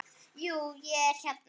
Jú, ég hérna.